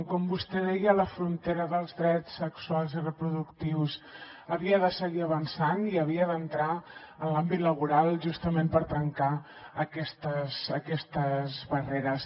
com vostè deia la frontera dels drets sexuals i reproductius havia de seguir avançant i havia d’entrar en l’àmbit laboral justament per trencar aquestes barreres